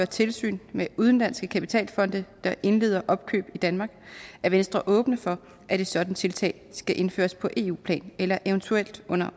tilsyn med udenlandske kapitalfonde der indleder opkøb i danmark er venstre åbne for at et sådant tiltag skal indføres på eu plan eller eventuelt under